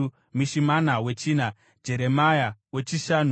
Mishimana wechina, Jeremia wechishanu,